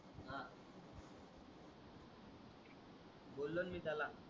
बोलोन मी त्याला